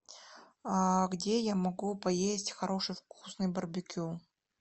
где я могу поесть хороший вкусный барбекю